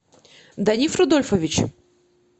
даниф рудольфович